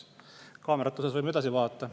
Kaamerate puhul võime edasi vaadata.